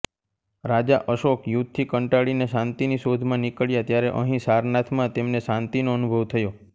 રાજા અશોક યુદ્ધથી કંટાળીને શાંતિની શોધમાં નીકળ્યા ત્યારે અહીં સારનાથમાં તેમને શાંતિનો અનુભવ થયો